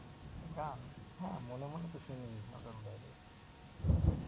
গান হ্যাঁ মনে মনে তো শুনি,